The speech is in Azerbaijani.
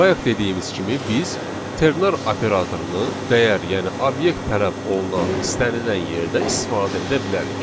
Bayaq dediyimiz kimi biz ternar operatorunu dəyər, yəni obyekt tələb olunan istənilən yerdə istifadə edə bilərik.